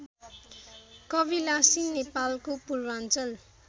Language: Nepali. कविलासी नेपालको पूर्वाञ्चल